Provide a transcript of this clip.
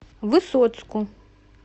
высоцку